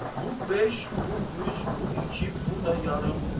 Bu beş, bu üç, bu iki, bu da yarım.